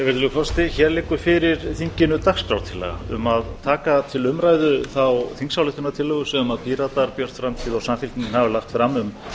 herra forseti hér liggur fyrir þinginu dagskrártillaga um að taka til umræðu þá þingsályktunartillögu sem píratar björt framtíð og samfylkingin hafa lagt fram um þjóðaratkvæðagreiðslu samhliða